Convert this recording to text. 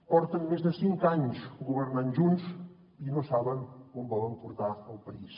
porten més de cinc anys governant junts i no saben on volen portar el país